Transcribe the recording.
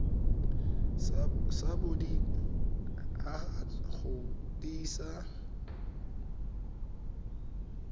sa bodit haba go tiisa